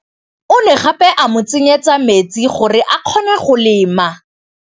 O ne gape a mo tsenyetsa metsi gore Mansfield a kgone go lema.